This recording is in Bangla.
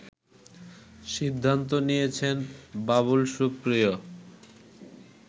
সিদ্ধান্ত নিয়েছেন বাবুল সুপ্রিয়